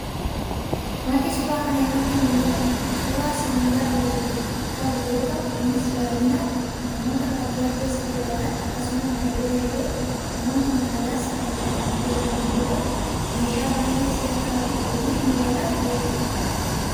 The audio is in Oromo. Waanti suuraa kana irratti mul'atu, suuraa sibiila hojiif ta'u yoo ta'u, innis baayyinaan namoota baadiyyaa keessa jiraatan akkasumas darbe darbe namonni magaalaas kan itti fayyadaman yoo ta'u, meeshaa baayyee si'ata fi hojiif mijataa ta'edha.